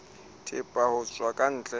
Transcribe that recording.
thepa ho tswa ka ntle